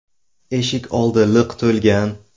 Eshik oldi liq to‘lgan.